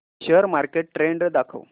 share market trend दाखव